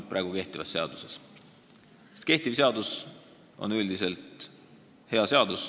Praegu kehtiv seadus on üldiselt hea seadus.